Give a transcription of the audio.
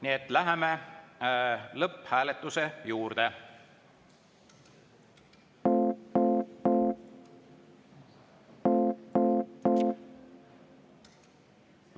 Nii et läheme lõpphääletuse juurde.